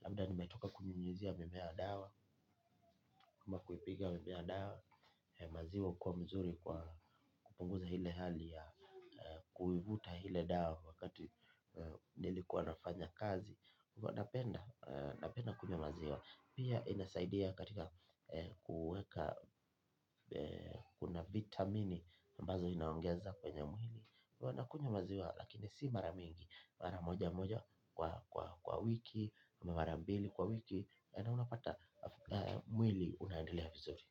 Labda nimetoka kunyunyuzia mimea dawa, ama kuipiga mimea dawa. Maziwa hukuwa mzuri kwa kupunguza ile hali ya kuivuta ile dawa wakati nilikuwa nafanya kazi huwa napenda, napenda kunywa maziwa. Pia inasaidia katika kuweka kuna vitamini ambazo inaongeza kwenye mwili. Nakunywa maziwa lakini si mara mingi. Mara moja moja kwa wiki. Mara mbili kwa wiki. Na unapata mwili unaendelea vizuri.